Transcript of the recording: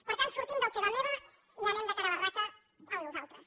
per tant sortim del teva meva i anem de cara a barraca al nosaltres